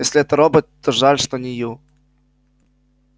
если это робот то жаль что не ю